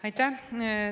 Aitäh!